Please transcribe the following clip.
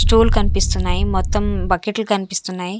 Stool కనిపిస్తున్నాయి మొత్తం బకెట్లు కనిపిస్తున్నాయి.